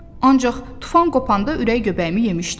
Ancaq tufan qopanda ürək göbəyimi yemişdim.